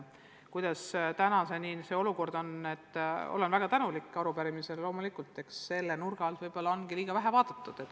Olen väga tänulik arupärimise esitajatele, sest loomulikult on selle nurga alt asjade seisu ehk liiga vähe vaadatud.